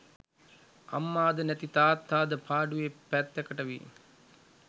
අම්මාද නැති තාත්තාද පාඩුවේ පැත්තකට වී